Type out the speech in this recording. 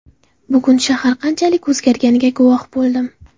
Bugun shahar qanchalik o‘zgarganiga guvoh bo‘ldim.